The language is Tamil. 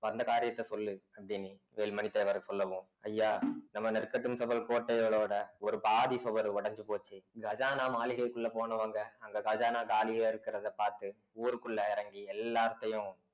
வந்த காரியத்த சொல்லு அப்படின்னி வேலுமணி தேவர் சொல்லவும் ஐயா நம்ம நெற்கட்டும் செவ்வல் கோட்டைகளோட ஒரு பாதி சுவர் உடைஞ்சு போச்சு கஜானா மாளிகைக்குள்ள போனவங்க அங்க கஜானா காலியா இருக்கிறத பார்த்து ஊருக்குள்ள இறங்கி எல்லாத்தையும்